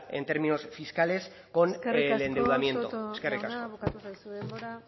en términos fiscales con el endeudamiento eskerrik asko soto jauna eskerrik asko bukatu zaizu denbora